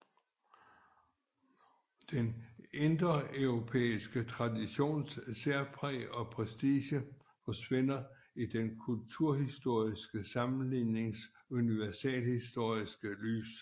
Den indoeuropæiske traditions særpræg og prestige forsvinder i den kulturhistoriske sammenlignings universalhistoriske lys